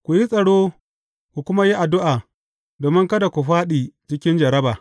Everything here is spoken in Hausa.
Ku yi tsaro, ku kuma yi addu’a, domin kada ku fāɗi cikin jarraba.